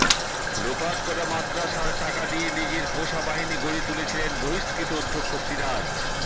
লোপাট করা মাদ্রাসার টাকা দিয়ে নিজের পোষা বাহিনী গড়ে তুলেছিলেন বহিস্কৃত অধ্যক্ষ সিরাজ